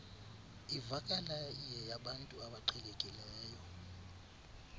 ivakala iyeyabantu abaqhelekileyo